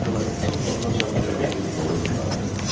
Az qala İsa bulağınacan piyada gedib mora yığardı.